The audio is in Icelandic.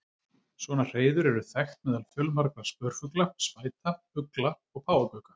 Svona hreiður eru þekkt meðal fjölmargra spörfugla, spæta, ugla og páfagauka.